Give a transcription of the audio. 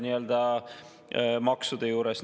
See on tänaste maksude juures.